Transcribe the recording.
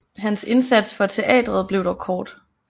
Hans indsats for teatret blev dog kort